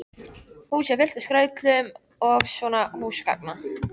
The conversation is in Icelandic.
Húsið er fullt af skrautlegum munum og svona húsgagna